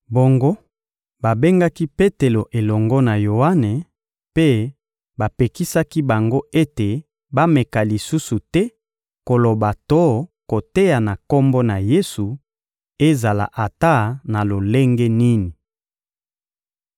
Bongo, babengaki Petelo elongo na Yoane mpe bapekisaki bango ete bameka lisusu te koloba to koteya na Kombo na Yesu, ezala ata na lolenge nini.